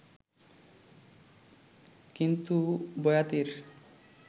কিন্তু বয়াতির